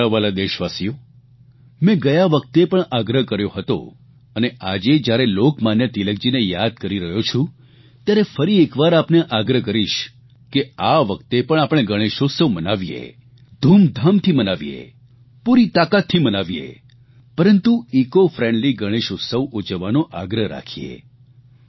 મારા વ્હાલા દેશવાસીઓ મે ગયા વખતે પણ આગ્રહ કર્યો હતો અને આજે જયારે લોકમાન્ય તિલકજીને યાદ કરી રહ્યો છું ત્યારે ફરી એકવાર આપને આગ્રહ કરીશ કે આ વખતે પણ આપણે ગણેશ ઉત્સવ મનાવીએ ધૂમધામથી મનાવીએ પૂરી તાકાતથી મનાવીએ પરંતુ ઇકો ફ્રેન્ડલી ગણેશ ઉત્સવ ઉજવવાનો આગ્રહ રાખીએ